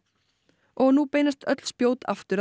og nú beinast öll spjót aftur að